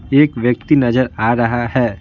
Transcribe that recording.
एक व्यक्ति नजर आ रहा है।